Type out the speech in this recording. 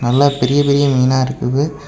நல்லா பெரிய பெரிய மீனா இருக்குது.